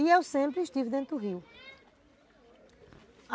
E eu sempre estive dentro do rio.